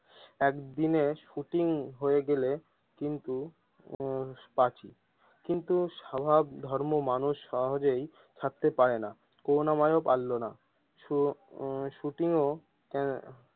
একদিনের শুটিং হয়ে গেলে কিন্তু উম পার্টি কিন্তু স্বভাব ধর্মের মানুষ সহজেই ছাড়তে পারে না করুনা ময় ও পারলোনা কিছু সো শুটিং ও।